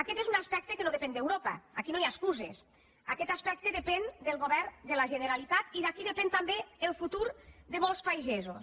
aquest és un aspecte que no depèn d’europa aquí no hi ha excuses aquest aspecte depèn del govern de la generalitat i d’aquí depèn també el futur de molts pagesos